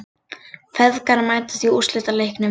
Feðgar mætast í úrslitaleiknum